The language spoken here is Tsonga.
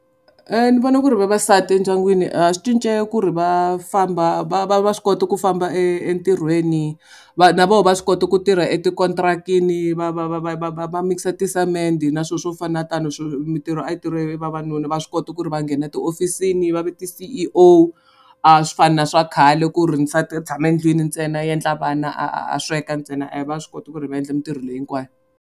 Ni vona ku ri vavasati endyangwini swi cince ku ri va famba va va va swi koti ku famba e entirhweni va na voho va swi kota ku tirha eti-contract-ini va va va va va va va mikisa tisemende na swona swo fana tano mintirho a yi tirha hi vavanuna va swi kota ku ri va nghena tihofisini va va ti-C_E_O a swi fani na swa khale ku ri nsati u tshama endlwini ntsena i endla vana a a a sweka ntsena va swi kota ku ri va endla mintirho leyi hinkwayo.